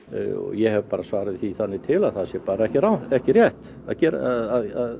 ég hef svarað því þannig til að það sé ekki ekki rétt að